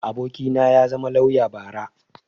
abokina ya zama lauya bara